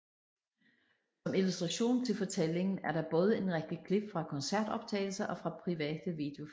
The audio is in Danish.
Som illustration til fortællingen er der både en række klip fra koncertoptagelser og fra private videofilm